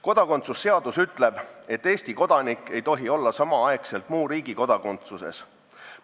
Kodakondsuse seadus ütleb, et Eesti kodanik ei tohi olla samal ajal muu riigi kodakondsuses.